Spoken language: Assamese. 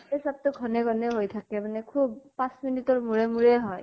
এই চ্বতো ঘনে ঘনে হৈ থাকে মানে খুব পাঁছ minute ৰ মুৰে মুৰে হয় ।